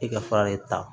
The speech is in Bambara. I ka fara de ta